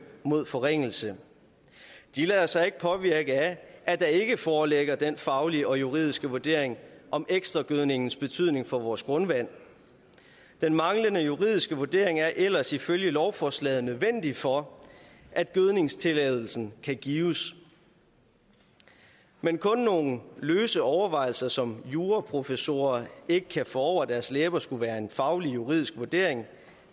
mod forringelse de lader sig ikke påvirke af at der ikke foreligger den faglige og juridiske vurdering om ekstragødningens betydning for vores grundvand den manglende juridiske vurdering er ellers ifølge lovforslaget nødvendig for at gødningstilladelsen kan gives men kun nogle løse overvejelser som juraprofessorer ikke kan få over deres læber skulle være en faglig juridisk vurdering